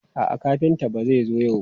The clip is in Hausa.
A'a, kafinta ba zai zo yau ba.